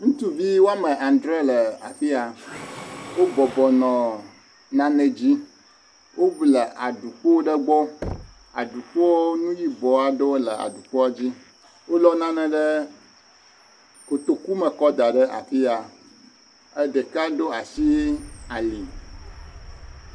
Ŋutsuvi woame adre le afia. Wobɔbɔ nɔ nane dzi. Wo le aɖukpo ɖe gbɔ. Aɖukpoa, nu yibɔ aɖe le aɖukpoa dzi. Wolɔ nane ɖe kotoku me kɔ da ɖe afia. Ɖeka ɖo asi ali.